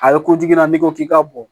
A bɛ na n'i ko k'i ka bɔ